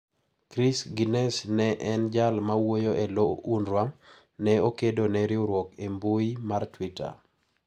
Chris Gunness, ma en jal mawuoyo e lo Unrwa, ne okedo ne riwruogno e mbui mar tweeter.